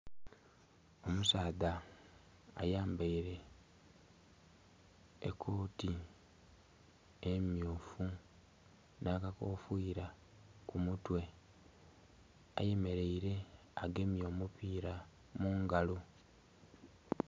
Omusadha ayambaire ekooti emyuufu n'akakofiira ku mutwe ayemeleire agemye omupiira mungalo